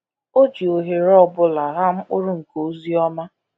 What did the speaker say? O ji ohere ọ bụla ghaa mkpụrụ nke ozi ọma.